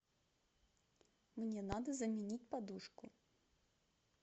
мне надо заменить подушку